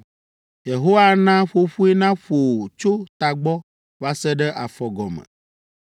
Yehowa ana ƒoƒoe naƒo wò tso tagbɔ va se ɖe afɔgɔme.